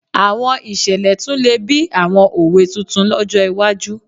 Àwọn ìṣẹ̀lẹ̀ tún lè bí àwọn òwe tuntun lọ́jọ́ iwájú